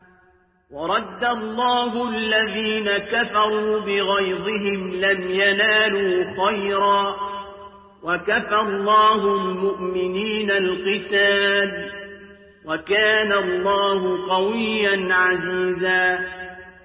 وَرَدَّ اللَّهُ الَّذِينَ كَفَرُوا بِغَيْظِهِمْ لَمْ يَنَالُوا خَيْرًا ۚ وَكَفَى اللَّهُ الْمُؤْمِنِينَ الْقِتَالَ ۚ وَكَانَ اللَّهُ قَوِيًّا عَزِيزًا